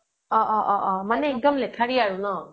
অহ্' অহ্' অহ্' মানে একদম লেঠাৰি মানে ন